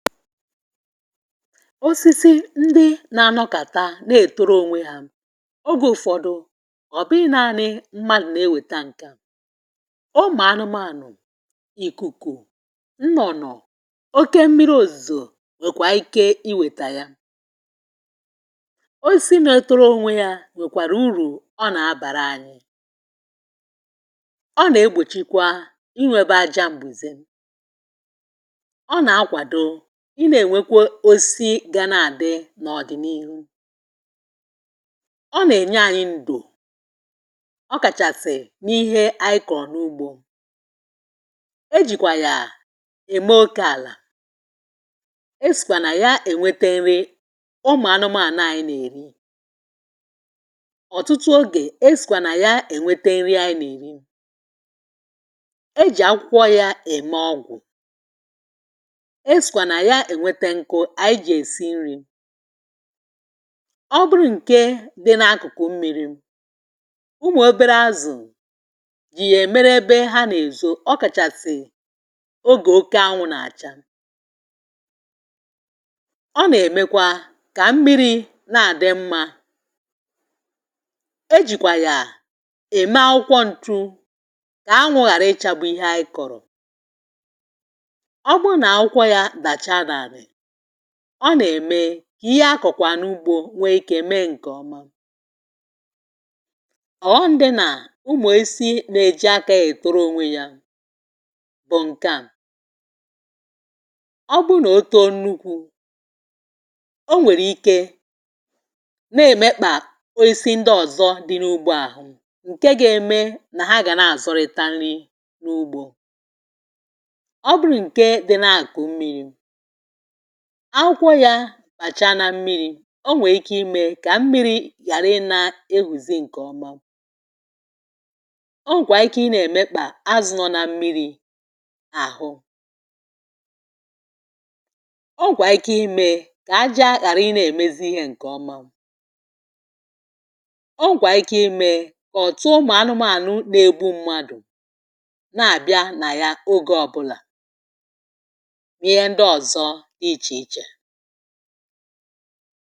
osisi ndị na-anọkàta na-ètoro onwe ha eh, oge ụfọdụ ghọ̀b ihe nanị mmadụ̀ na-ewèta. ǹka ụmụ̀anụmanụ̀, ìkùkù, nnọ̀nọ̀ oke mmiri, òzìzò um nwèkwà ike i wèta ya. osisi na-etoro onwe ya ah, nwèkwàrà urù ọ nà-abàra anyị. ọ nà-egbòchikwa inwėbe aja m̀gbèzè. i nà-ènwekwe osisi ga na-àdị n’ọ̀dị̀nị̇ ihu, ọ nà-ènye ànyị ndò um. ọ kàchàsị̀ n’ihe anyị kọ̀ọ̀ n’ugbȯ, e jìkwà yà ème okė àlà. e sìkwà nà ya ènwete nri ụmụ̀anụmà àna ànyị nà-èri. ọ̀tụtụ ogè esìkwà nà ya ènwete nri̇ ànyị nà-èri. e jì akwụkwọ ya ème ọgwụ̀ eh, ọ bụrụ ǹke dị n’akụkụ mmi̇ri̇. ụmụ̀ obere azụ̀ jì yà èmer ebe ha n’èzo um. ọ kàchàsị ogè oke anwụ̇ nà-àcha, ọ nà-èmekwa kà mmi̇ri̇ na-àdị mmȧ. e jìkwà yà ème akwụkwọ ǹtụ kà anwụ̇ ghàra ịchȧgbu̇ ihe a ị kọ̀rọ̀. ọ nà-ème kà ihe akọ̀kwà n’ugbȯ nwee ikė mee ǹkè ọma ah. ọ̀ghọm ndị nà, umù e si nà-èji akȧghị̇ toro onwe ya bụ̀ ǹke à. ọ bụrụ nà otu o nukwu, o nwèrè ike nà-èmekpà. o e si ndị ọ̀zọ dị n’ugbȯ àhụ, ǹke ga-eme nà ha gà na-àzọrịta nri n’ugbȯ. ọ bụrụ nà ǹke dị nà-àkụ mmiri akwụkwọ yȧ bàcha na mmiri̇ um, o nwèrè ike imė kà mmiri̇ yàra ị na-ehùzi ǹkè ọma. o nwèkwà ike ị nà-èmekpà azụ̇ nọ na mmiri̇ àhụ. ọ wèkwà ike imė kà aja ghàra ịnȧ-èmezi ihė ǹkè ọma. o nwèkwà ike imė kà ọ̀tụ ụmụ̀ anụmȧnụ̀ na-egbu mmadụ̀ na-àbịa nà ya oge ọbụlà ah, ichi ichè.